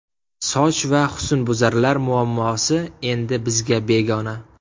Soch va husnbuzarlar muammosi endi bizga begona!.